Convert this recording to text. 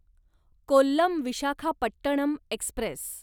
Kollam Visakhapatnam Express